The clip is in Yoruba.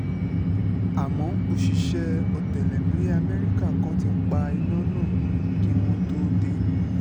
àmọ́ òṣìṣẹ́ ọ̀tẹlẹ̀múyẹ́ amẹ́ríkà kan ti pa iná náà kí wọ́n tóó dé